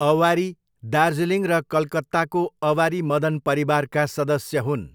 अवारी दार्जिलिङ र कलकत्ताको अवारी मदन परिवारका सदस्य हुन्।